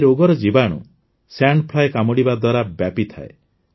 ଏହି ରୋଗର ଜୀବାଣୁ ସାଣ୍ଡ ଫ୍ଲାଇ କାମୁଡିବା ଦ୍ୱାରା ବ୍ୟାପିଥାଏ